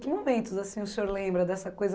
Que momentos assim o senhor lembra dessa coisa?